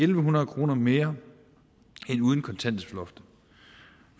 en hundrede kroner mere end uden kontanthjælpsloftet